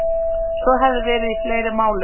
Svo hefði verið í fleiri málum